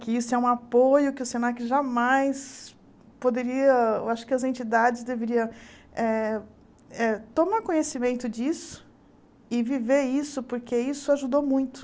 Que isso é um apoio que o Senac jamais poderia... Eu acho que as entidades deveriam eh eh tomar conhecimento disso e viver isso, porque isso ajudou muito.